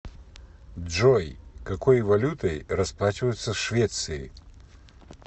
джой какой валютой расплачиваются в швеции